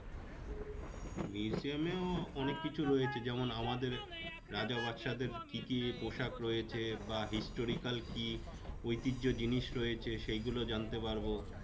Museum এও অনেক কিছু রয়েছে যেমন আমাদের রাজা বাদশাদের কি কি পোশাক রয়েছে বা historical কি ঐতিহ্য জিনিস রয়েছে সেইগুলো জানতে পারবো।